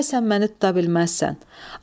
Da isə məni tuta bilməzsən.